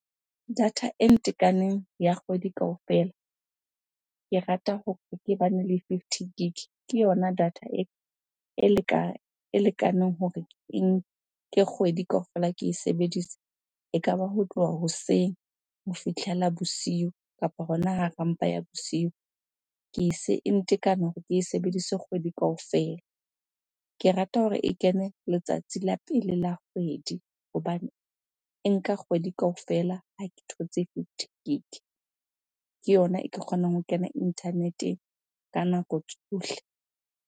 Data e ntekaneng ya kgwedi kaofela, ke rata hore ke bane le fifty gig. Ke yona data e lekaneng hore ke nke kgwedi kaofela ke e sebedise. Ekaba ho tloha hoseng ho fihlela bosiu kapa hona hara mpa ya bosiu. Ke e e ntekane hore ke e sebedise kgwedi kaofela. Ke rata hore e kene le tsatsi la pele la kgwedi hobane e nka kgwedi kaofela ha ke thotse fifty gig. Ke yona e ke kgonang ho kena internet-eng ka nako tsohle.